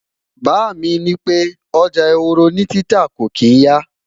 bá mí ní pẹ, ọjà ehoro ni títà kò kin ya